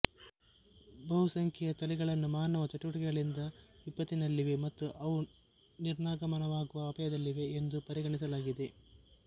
ಬಹು ಸಂಖ್ಯೆಯ ತಳಿಗಳನ್ನು ಮಾನವ ಚಟುವಟಿಕೆಗಳಿಂದ ವಿಪತ್ತಿನಲ್ಲಿವೆ ಮತ್ತು ಅವು ನಿರ್ನಾಮವಾಗುವ ಅಪಾಯದಲ್ಲಿವೆ ಎಂದು ಪರಿಗಣಿಸಲಾಗಿದೆ